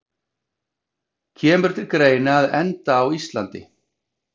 Kemur til greina að enda á Íslandi?